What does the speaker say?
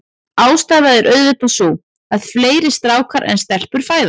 Ástæðan er auðvitað sú, að fleiri strákar en stelpur fæðast.